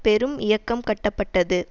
பெரும் இயக்கம் கட்டப்பட்டது